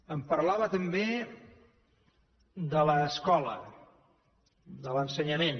em parlava també de l’escola de l’ensenyament